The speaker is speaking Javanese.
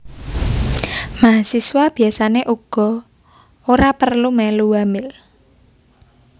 Mahasiswa biasané uga ora perlu mèlu wamil